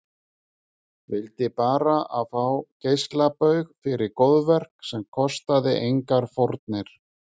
Vildi bara fá geislabaug fyrir góðverk sem kostaði engar fórnir.